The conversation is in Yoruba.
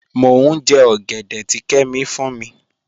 Mọ̀ n jẹ́ ogẹ̀dẹ̀ tì Kẹ́mí fún mi.